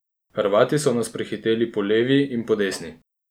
Hrvati so nas prehiteli po levi in po desni.